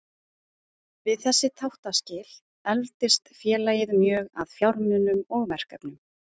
Við þessi þáttaskil efldist félagið mjög að fjármunum og verkefnum.